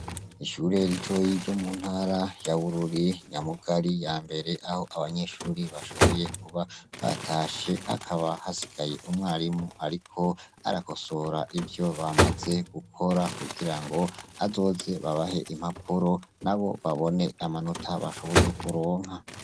Ishure ritoyi ryo mu ntara ya Bururi Nyamugari ya mbere aho abanyeshuri bashoboye kuba batashe hakaba hasigaye umwarimu ariko arakosora ivyo bamaze gukora kugira ngo azoze babahe impapuro nabo babone amanota bashoboye kuronka.